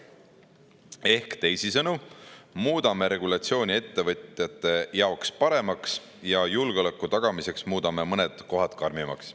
Ehk teisisõnu, muudame regulatsiooni ettevõtjate jaoks paremaks ja julgeoleku tagamiseks muudame mõned kohad karmimaks.